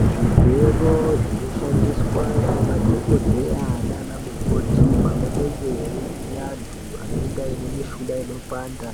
Zvigero zvinoshandiswa nanadhogodheya nanamukoti pavanenge veivhiya antu anenge ane mishuna inopanda